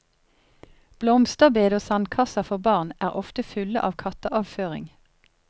Blomsterbed og sandkasser for barn er ofte fulle av katteavføring.